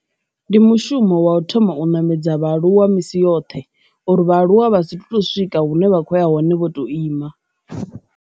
Ndi mushumo wa u thoma u ṋamedza vhaaluwa misi yoṱhe uri vhaaluwa vha si to swika hune vha khoya hone vho to ima.